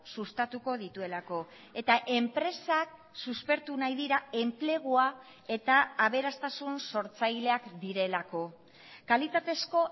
sustatuko dituelako eta enpresak suspertu nahi dira enplegua eta aberastasun sortzaileak direlako kalitatezko